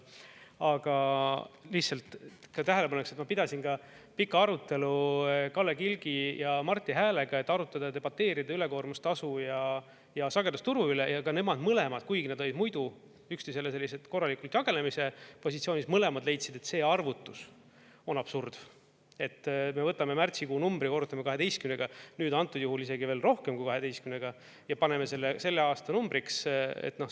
Aga lihtsalt, et ka tähele paneks, et ma pidasin pika arutelu Kalle Kilgi ja Marti Häälega, et arutada ja debateerida ülekoormusetasu ja sagedusturu üle, ja ka nemad mõlemad, kuigi nad olid muidu üksteisele korralikult jagelemise positsioonis, mõlemad leidsid, et see arvutus on absurd, et me võtame märtsikuu numbri ja korrutame 12-ga, nüüd antud juhul isegi veel rohkem kui 12-ga, ja paneme selle aasta numbriks.